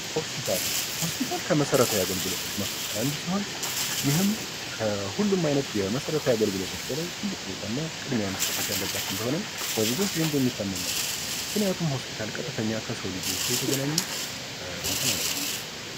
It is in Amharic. ሆስፒታል ከመሰረታዊ አገልግሎቶች አንዱ ሲሆን ይህም ሁሉም አይነት የመሰረታዊ አገልግሎቶች በፊት ቅድሚያ ያለበት ቦታ ነው ምክንያቱም ሆስፒታል ከፍተኛ ከሰው ልጅ ህይወት ጋር የተገናኘ እንትን አለው።